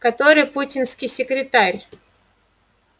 который путинский секретарь